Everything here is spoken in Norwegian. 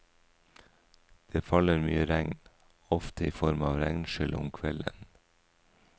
Det faller mye regn, ofte i form av regnskyll om kvelden.